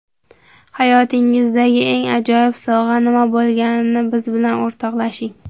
Hayotingizdagi eng ajoyib sovg‘a nima bo‘lganini biz bilan o‘rtoqlashing.